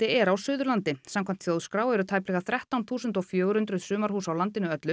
er á Suðurlandi samkvæmt Þjóðskrá eru tæplega þrettán þúsund fjögur hundruð sumarhús á landinu öllu